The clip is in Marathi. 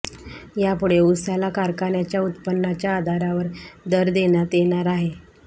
यापुढे ऊसाला कारखान्याच्या उत्पन्नाच्या आधारावर दर देण्यात येणार आहे